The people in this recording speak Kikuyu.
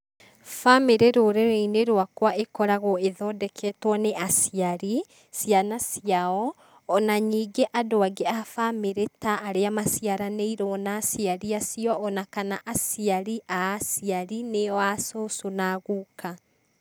Bamĩrĩ rũrĩrĩ-inĩ rwakwa ĩkoragwo ĩthondeketwo nĩ aciari, ciana ciao, ona ningĩ andũ angĩ a bamĩrĩ ta arĩa maciaranĩirwo na aciari acio. Ona kana aciari a aciari, nĩo a cũcũ na a guka.